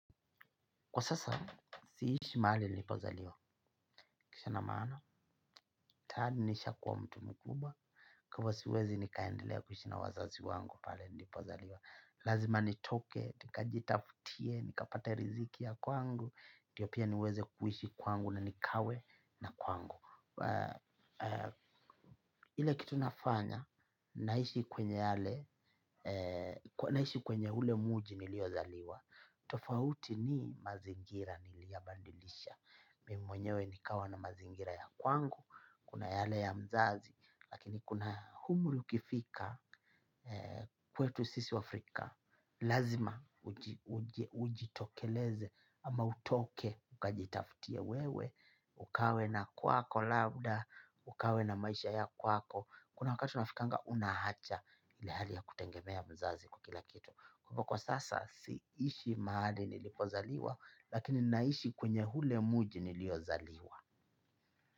Kwa sasa, siishi mahali nilipozaliwa. Kisa na maana, tayari nisha kuwa mtu mkubwa, kwa hivo siwezi nikaendelea kuishi na wazazi wangu pale nilipozaliwa. Lazima nitoke nikajifutie nikapate riziki ya kwangu ndiyo pia niweze kuishi kwangu nikawe na kwangu. Ile kitu nafanya, naishi kwenye ule mji niliozaliwa. Tofauti ni mazingira niliyabadilisha. Mimi mwenyewe nikawa na mazingira ya kwangu. Kuna yale ya mzazi. Lakini kuna humri ukifika. Kwetu sisi wafrika lazima ujitokeleze. Ama utoke ukajitafutie wewe. Ukawe na kwako labda ukawe na maisha ya kwako. Kuna wakati na unafikinga unahacha ile hali ya kutengemea mzazi kwa kila kitu. Kwa hivo kwa sasa siishi mahali nilipozaliwa lakini naishi kwenye hule mji niliozaliwa.